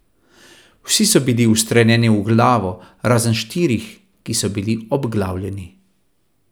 Vsi so bili ustreljeni v glavo, razen štirih, ki so bili obglavljeni.